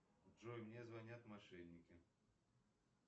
джой мне звонят мошенники